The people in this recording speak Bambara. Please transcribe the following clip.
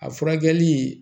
A furakɛli